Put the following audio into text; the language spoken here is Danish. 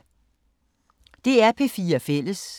DR P4 Fælles